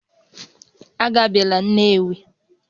A gabela Nnewi!